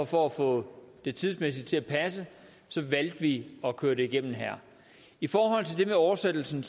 for at få det tidsmæssigt til at passe valgte vi at køre det igennem her i forhold til det med oversættelsen